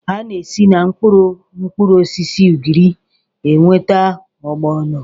A na-esi na mkpụrụ mkpụrụosisi ugiri enweta ọgbọnọ